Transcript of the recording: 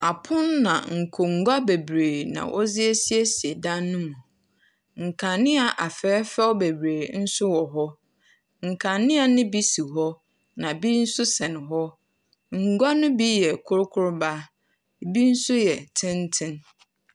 Apono na nkonnwa bebree na wɔdze asiesie dan no mu. Nkanea afɛɛfɛɛw bebree nso wɔ hɔ. Nkanea no bi si hɔ na bi nso sɛn hɔ. Ngua no bi yɛ kurukuruwa ebi nso yɛ tenten.